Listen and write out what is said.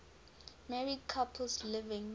married couples living